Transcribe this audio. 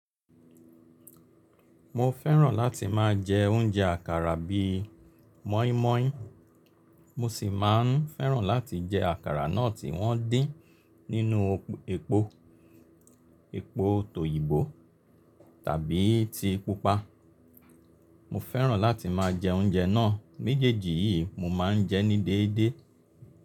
Mo fẹ́ràn láti máa jẹ oúnjẹ àkàrà bí i mọ́ímọ́í. Mo sì máa ń fẹ́ràn láti jẹ àkàrà náà tí wọ́n dín nínú epo, epo tòyìnbó tàbí ti pupa. Mo fẹ́ràn láti máa jẹ oúnjẹ náà méjèèjì yìí mo máa ń jẹ ní déédéé.